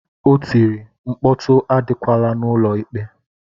O tiri, mkpọtụ adịkwala n'ụlọ ikpe!